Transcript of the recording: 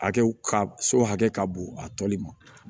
Hakɛw ka so hakɛ ka bon a tɔli ma